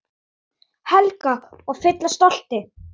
Helga: Og fyllast stolti?